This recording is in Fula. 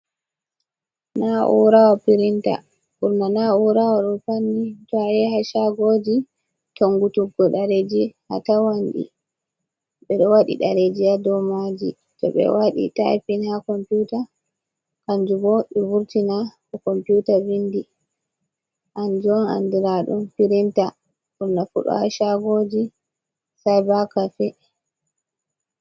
Na urawo pirinta. Ɓurna na urawoɗo ɗo tawe ha shagoji tonguttuggo dereji atawanɗi. Ɓe ɗo waɗi dereji ha domaji. To ɓe waɗi taipin ha komputa kanjubo be vurtina ko komputa vindi, kanjum on andraɗun pirinta. Ɓurnafu ɗo ha shagoji saiba kafe.